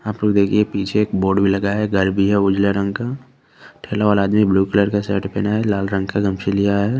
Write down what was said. आप लोग देखिये पीछे एक बोर्ड भी लगा है घर भी है रंग का ठेला वाला आदमी ब्लू कलर का शर्ट पहना है और लाल रंग का गमछा लिया है।